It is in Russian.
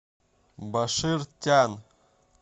башир тян